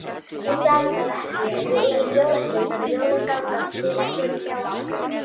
Ég sagði það ekki, en við erum jólasveinar og jólin ganga fyrir hjá okkur.